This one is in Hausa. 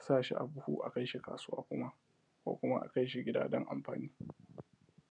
sashi a buhu a kaishi kasuwa kuma a kaishi gida ko kuma a kaishi kasuwa dan amfan